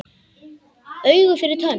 Auga fyrir tönn.